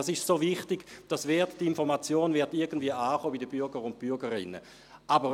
Diese sind so wichtig, dass die Informationen irgendwie bei den Bürgern und Bürgerinnen ankommen.